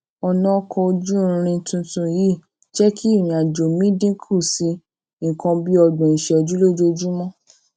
ònà ọkò ojú irin tuntun yìí jé kí ìrìn àjò mi dín kù sí nǹkan bí ọgbòn ìṣéjú lójoojúmó